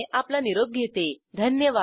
सहभागासाठी धन्यवाद